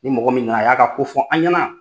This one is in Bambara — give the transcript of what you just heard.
Ni mɔgɔ min na a y'a ka ko fɔ an ɲana